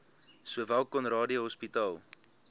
sowel conradie hospitaal